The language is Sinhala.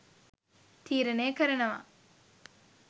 තීරණය කරනව.